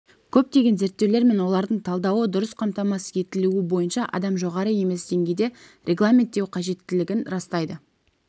көптеген зерттеулер мен олардың талдауы дұрыс қамтамасыз етілуі бойынша адам жоғары емес деңгейде регламенттеу қажеттілігін растайды